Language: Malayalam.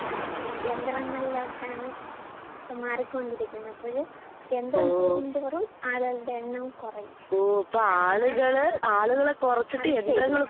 ആഹ് യന്ത്രങ്ങളിലോട്ടാണ് മാറിക്കൊണ്ടിരിക്കുന്നെ. അപ്പഴ് യന്ത്രം കൂടുന്തോറും ആളുകളുടെ എണ്ണവും കൊറയും. അത് ചെയ്യാൻ.